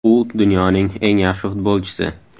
U dunyoning eng yaxshi futbolchisi.